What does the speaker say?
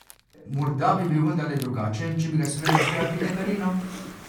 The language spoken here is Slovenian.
Morda bi bil vendarle drugačen, če bi ga smela vzgajati Katarina?